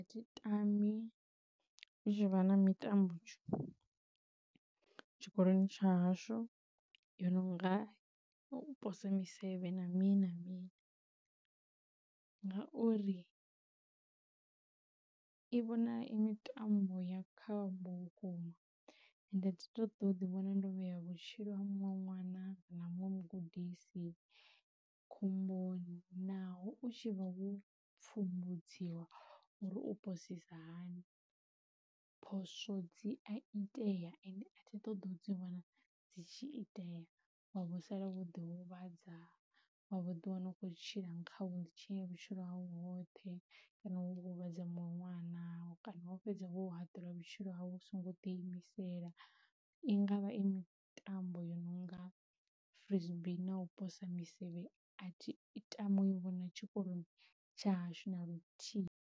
Thi tami hu tshi vha na mitambo tshikoloni tsha hashu yo no nga u pose misevhe na mini na mini, ngauri i vhonala i mitambo ya khombo vhukuma ende thi ṱoḓi u vhona ndo vhea vhatshilo ha muṅwe ṅwana na muṅwe mugudisi khomboni naho u tshi vha wo pfumbudziwa uri u posisa hani. Phoswo dzi a itea ende a thi ṱoḓa u dzi vhona dzi tshi itea wavho sala wo ḓi huvhadza wa vho ḓi wana u khou tshila kha wheelchair vhutshilo hau hoṱhe kana wo huvhadza muṅwe ṅwana naho kana wo fhedza wo haṱulwa vhutshilo havho hu so ngo ḓi imisela. I ngavha i mitambo yo no nga frisbee na u posa misevhe a thi itami u i vhona tshikoloni tsha hashu na luthihi